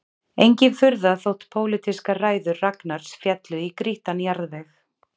Engin furða þótt pólitískar ræður Ragnars féllu í grýttan jarðveg